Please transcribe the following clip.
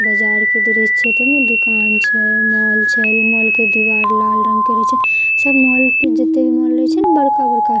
बाजार के दीरेह छत में दुकान छै मॉल छै मॉल के दीवार लाल रंग के रही छै सब मॉल के जीते भी मॉल रहई छै न बड़का बड़का--